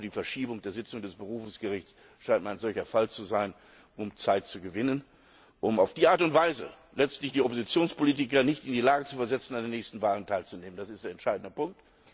Auch die Verschiebung der Sitzung des Berufungsgerichts scheint mir ein solcher Fall zu sein, um Zeit zu gewinnen, um auf diese Art und Weise letztlich den Oppositionspolitikern die Möglichkeit zu nehmen, an den nächsten Wahlen teilzunehmen. Das ist der entscheidende Punkt.